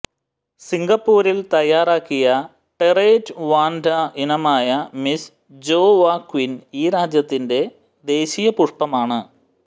സിങ്കപ്പൂരിൽ തയാറാക്കിയ terete Vanda ഇനമായ Miss Joaquim ഈ രാജ്യത്തിന്റെ ദേശീയ പുഷ്പമാണ്